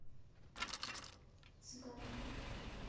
цыганка